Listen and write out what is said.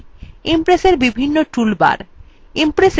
impressএর বিভিন্ন toolbars